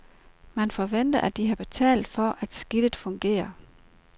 Man forventer, og har betalt for, at skidtet fungerer.